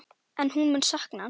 En hún mun sakna hans.